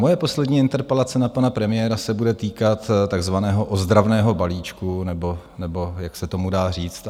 Moje poslední interpelace na pana premiéra se bude týkat takzvaného ozdravného balíčku, nebo jak se tomu dá říct.